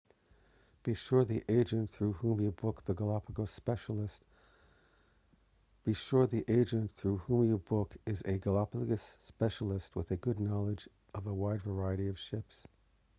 be sure the agent through whom you book is a galapagos specialist with a good knowledge of a wide variety of ships